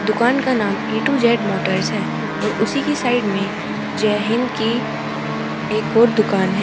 दुकान का नाम ए टू जेड मोटर्स है और उसी की साइड में जय हिंद की एक और दुकान है।